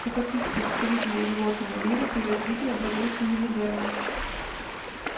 у каких представителей животного мира при развитии образуется мезодерма